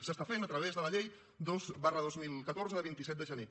s’està fent a través de la llei dos dos mil catorze de vint set de gener